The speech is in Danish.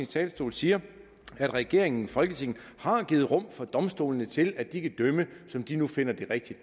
talerstol siger at regeringen og folketinget har givet rum for domstolene til at de kan dømme som de nu finder det rigtigt